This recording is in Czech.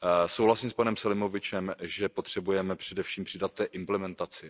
Souhlasím s panem Selimovičem, že potřebujeme především přidat v té implementaci.